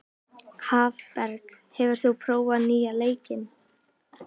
Hafberg, hefur þú prófað nýja leikinn?